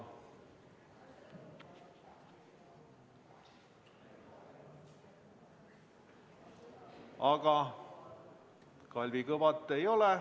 Aga Kalvi Kõvat ei ole ...